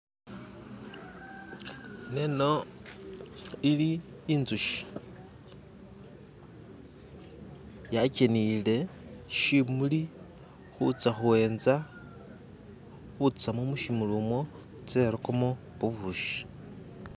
Ineno ili inzushi yakeniyile shimuli kutsya kuenza kutsamo mushimuli mwo itse irukemo bubushi.